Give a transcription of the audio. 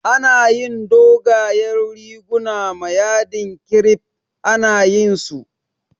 Ana yin dogayen riguna ma yadin kirif, ana yayin su